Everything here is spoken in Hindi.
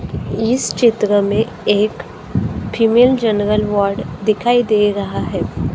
इस चित्र में एक फीमेल जनरल वार्ड दिखाई दे रहा है।